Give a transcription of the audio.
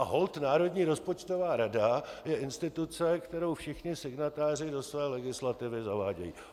A holt Národní rozpočtová rada je instituce, kterou všichni signatáři do své legislativy zavádějí.